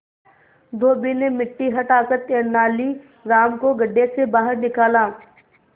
धोबी ने मिट्टी हटाकर तेनालीराम को गड्ढे से बाहर निकाला